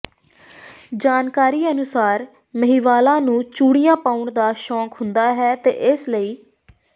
ਜਾਣਕਾਰੀ ਅਨੁਸਾਰ ਮਹਿਵਾਲਾ ਨੂੰ ਚੂੜੀਆਂ ਪਾਉਣ ਦਾ ਸ਼ੌਕ ਹੁੰਦਾ ਹੈ ਤੇ ਇਸ ਲਈ